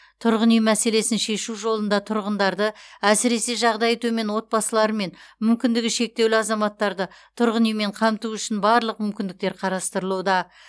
тұрғын үй мәселесін шешу жолында тұрғындарды әсіресе жағдайы төмен отбасылары мен мүмкіндігі шектеулі азаматтарды тұрғын үймен қамту үшін барлық мүмкіндіктер қарастырылуда